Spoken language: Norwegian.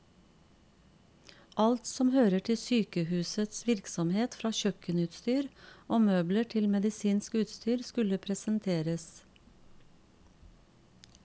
Alt som hører til sykehusets virksomhet, fra kjøkkenutstyr og møbler til medisinsk utstyr, skulle presenteres.